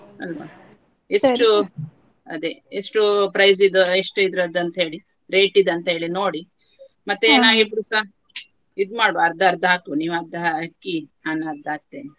ಅಲ್ವ ಎಷ್ಟು price ದು ಎಷ್ಟು ಇದ್ರದಂತ ಹೇಳಿ rate ದಂತ ಹೇಳಿ ನೋಡಿ ಮತ್ತೆ ಏನಾದ್ರು ಇದ್ರೂಸ ಅರ್ಧ ಅರ್ಧ ಹಾಕಿ ನೀವು ಅರ್ಧ ಹಾಕಿ ನಾನು ಅರ್ಧ ಹಾಕ್ತೇನೆ.